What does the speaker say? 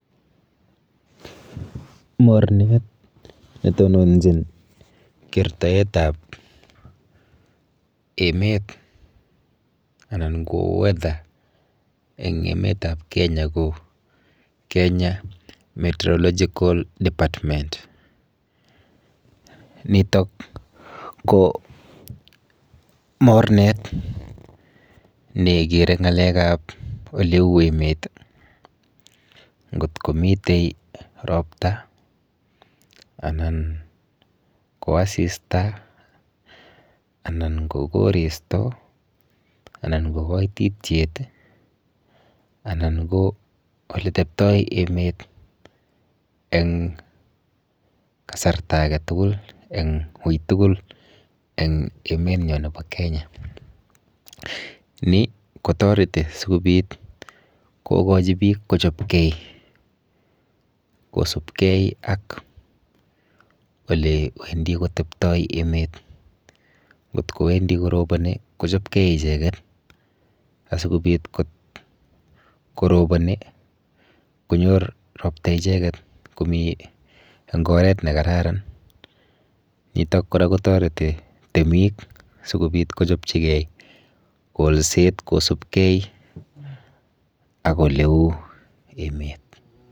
Mornet netononchin kertoetap emet anan ko weather eng emetap Kenya ko Kenya metherological department. Nitok ko mornet nekere ng'alekap oleu emet ngot komite ropta anan ko asista anan ko koristo anan ko koitityet anan ko oliteptoi emet eng kasarta aketugul eng ui tugul eng emenyo nepo Kenya. Ni kotoreti sikobit kokochi biik kochopkei kosubkei ak olewendi koteptoi emet. Nkot kowendi koroboni kochopkei icheket asikobit koroboni konyor ropta icheket komi eng oret nekararan.